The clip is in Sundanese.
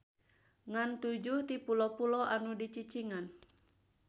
Ngan tujuh ti pulo-pulo anu dicicingan.